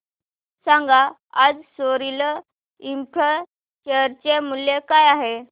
सांगा आज Sorril Infra share चे मूल्य काय आहे